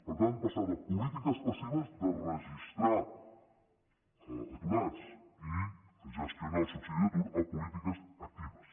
per tant passar de polítiques passives de registrar aturats i gestionar el subsidi d’atur a polítiques actives